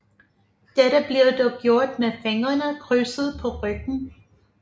Dette blev dog gjort med fingrene krydset på ryggen